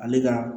Ale ka